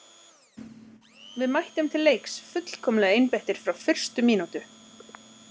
Við mættum til leiks fullkomlega einbeittir frá fyrstu mínútu.